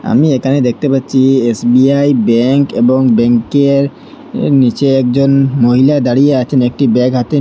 আমি এখানে দেখতে পাচ্ছি এস_বি_আই ব্যাঙ্ক এবং ব্যাঙ্কের আঃ নীচে একজন উম হ মহিলা দাঁড়িয়ে আছেন একটি ব্যাগ হাতে নি--